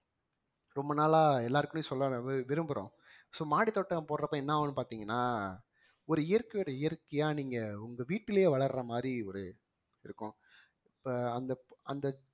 ரொம்ப நாளா எல்லாருக்குமே சொல்ல விரும்~ விரும்புறோம் so மாடி தோட்டம் போடுறப்ப என்ன ஆகும்னு பார்த்தீங்கன்னா ஒரு இயற்கையோட இயற்கையா நீங்க உங்க வீட்டிலேயே வளர்ற மாதிரி ஒரு இருக்கும் இப்ப அந்த ப~ அந்த